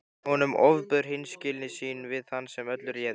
Honum ofbauð hreinskilni sín við þann sem öllu réði.